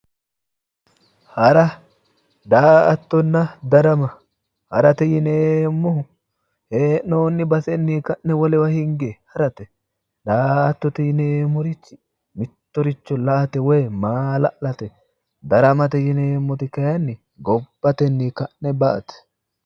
Hara daa''attonna darama harate yineemmohu hee'noonni basenni wolewa hinge harate daa'attote yineemmohu mittoricho la'ate woyi maa'la'late daramate yineemmoti kayiinni gobbatenni ka'ne ba''ate